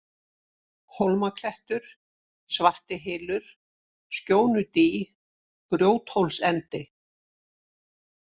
Hólmaklettur, Svartihylur, Skjónudý, Grjóthólsendi